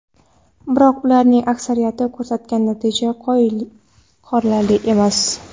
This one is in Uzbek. Biroq ularning aksariyati ko‘rsatgan natija qoyil qolarli emas.